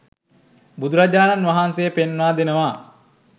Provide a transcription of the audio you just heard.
බුදුරජාණන් වහන්සේ පෙන්වා දෙනවා